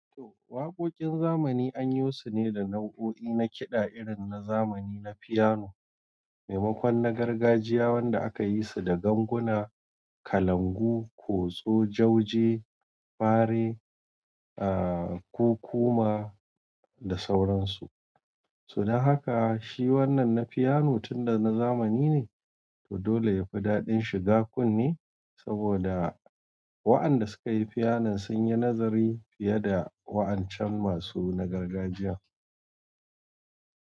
To waƙoƙin zamani an yo su ne da nau'o'i na kiɗa irin na zamani na fiyano, maimakon na gargajiya wanda aka yi su da ganguna, kalangu, kotso, jauje, fare, aa kukuma da sauran su. To dan haka, shi wannan na fiyano tun da na zamani ne, to dole yafi daɗin shiga kunne saboda wa'an da suka yi fiyanon sun yi nazari fiye da wa'an can masu na gargajiya.